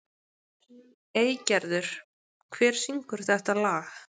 Eygerður, hver syngur þetta lag?